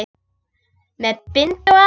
Með bindi og allt!